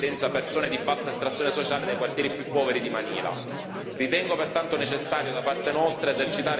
A farne le spese non sono i signori della droga ma, in prevalenza, persone di bassa estrazione sociale dei quartieri più poveri di Manila.